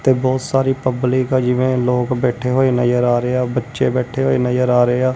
ਤੇ ਬਹੁਤ ਸਾਰੀ ਪਬਲਿਕ ਆ ਜਿਵੇਂ ਲੋਕ ਬੈਠੇ ਹੋਏ ਨਜ਼ਰ ਆ ਰਹੇ ਹਾਂ ਬੱਚੇ ਬੈਠੇ ਹੋਏ ਨਜ਼ਰ ਆ ਰਹੇ ਹਾਂ।